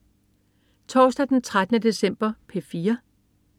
Torsdag den 13. december - P4: